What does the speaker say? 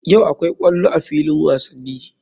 Yau akwai ƙwallo a filin wasani.